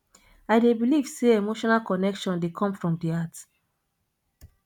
i dey believe say emotional connection dey come from di heart